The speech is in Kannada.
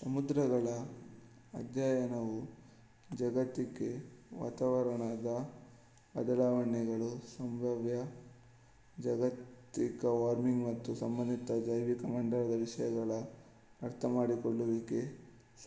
ಸಮುದ್ರಗಳ ಅಧ್ಯಯನವು ಜಾಗತಿಕ ವಾತಾವರಣದ ಬದಲಾವಣೆಗಳು ಸಂಭಾವ್ಯ ಜಾಗತಿಕ ವಾರ್ಮಿಂಗ್ ಮತ್ತು ಸಂಬಂಧಿತ ಜೈವಿಕಮಂಡಲದ ವಿಷಯಗಳ ಅರ್ಥಮಾಡಿಕೊಳ್ಳುವಿಕೆಗೆ